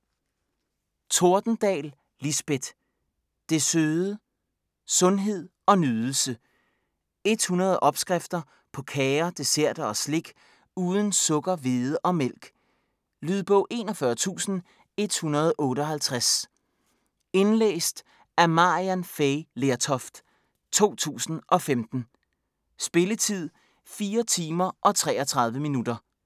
Tordendahl, Lisbeth: Det søde: sundhed & nydelse 100 opskrifter på kager, desserter og slik uden sukker, hvede og mælk. Lydbog 41158 Indlæst af Maryann Fay Lertoft, 2015. Spilletid: 4 timer, 33 minutter.